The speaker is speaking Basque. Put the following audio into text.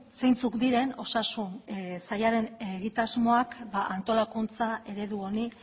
zeintzuk diren osasun sailaren egitasmoak antolakuntza eredu honi